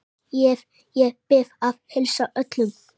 Ég bið að heilsa öllum.